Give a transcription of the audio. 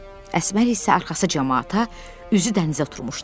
Əsmər isə arxası camaata, üzü dənizə oturmuşdu.